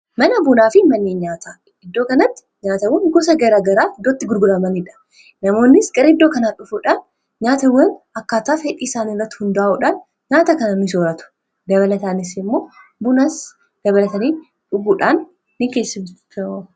mana bunaa fi mannii nyaataa iddoo kanatti nyaatawwa gusa gara garaa hiddootti gurguramaniidha namoonnis gara iddoo kanaa dhufuudhaan nyaata iwwan akkaataaf hedhii isaan irratti hundaa'uudhan nyaata kana misooratu dabalataanis immoo bunas gabalatanii dhuguudhaan ni keessimta